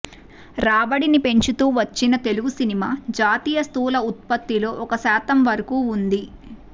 రాబడిని పెంచుతూ వచ్చిన తెలుగు సినిమా జాతీయ స్థూల ఉత్పత్తిలో ఒక శాతం వరకూ ఉంది